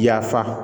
Yafa